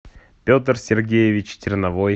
петр сергеевич терновой